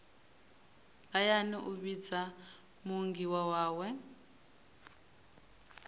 hayani u vhidza muunḓi wawe